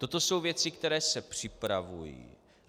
Toto jsou věci, které se připravují.